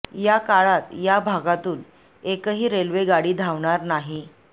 या काळात या भागातून एकही रेल्वे गाडी धावणार नाही